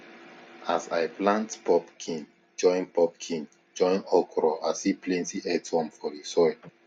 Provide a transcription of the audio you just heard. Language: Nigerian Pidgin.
as i plant pumpkin join pumpkin join okra i see plenty earthworm for the soil